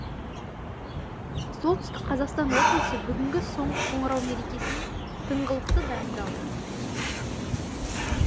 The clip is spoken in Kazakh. солтүстік қазақстан облысы бүгінгі соңғы қоңырау мерекесіне тыңғылықты дайындалды